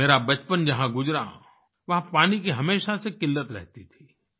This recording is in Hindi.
मेरा बचपन जहाँ गुजरा वहाँ पानी की हमेशा से किल्लत रहती थी